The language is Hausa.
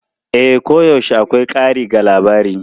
E, koyaushe akwai ƙari ga labari.